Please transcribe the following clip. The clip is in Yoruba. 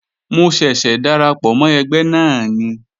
Mo ṣẹ̀ṣẹ̀ darapọ̀ mọ́ ẹgbẹ́ náà ni